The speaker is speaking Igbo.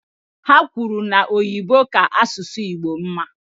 Ha kwuru na Oyibo ka asụsụ Igbo mma.